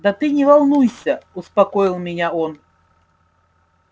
да ты не волнуйся успокоил меня он